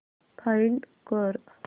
find कर